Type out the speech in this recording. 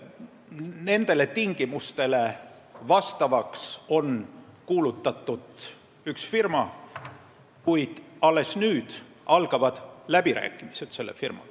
Nendele tingimustele vastavaks on kuulutatud üks firma, kellega alles nüüd algavad läbirääkimised.